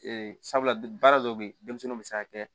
sabula baara dɔw bɛ denmisɛnninw bɛ se ka kɛ